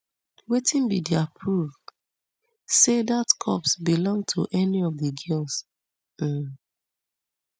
wetin be dia proof say dat corpse belong to any of di girls um